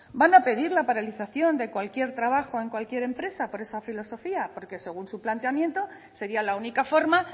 van a pedir a pedir la paralización de cualquier trabajo en cualquier empresa por esa filosofía porque según su planteamiento sería la única forma